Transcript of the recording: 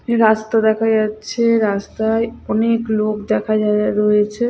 এ রাস্তা দেখা যাচ্ছে রাস্তায় অনেক লোক দেখা যাযা রয়েছে।